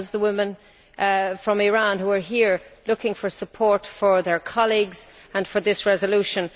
That was the women from Iran, who are here looking for support for their colleagues and for this resolution.